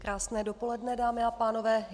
Krásné dopoledne, dámy a pánové.